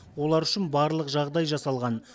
олар үшін барлық жағдай жасалған